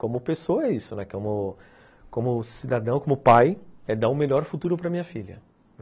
Como pessoa é isso, né, como cidadão, como pai, é dar o melhor futuro para minha filha.